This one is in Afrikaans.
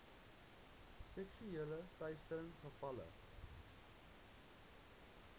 seksuele teistering gevalle